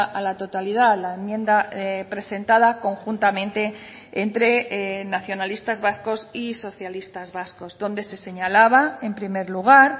a la totalidad la enmienda presentada conjuntamente entre nacionalistas vascos y socialistas vascos donde se señalaba en primer lugar